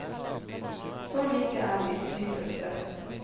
Så like er vi dypest sett.